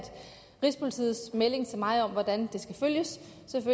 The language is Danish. rigspolitiets melding til mig om hvordan